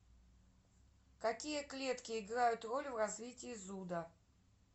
какие клетки играют роль в развитии зуда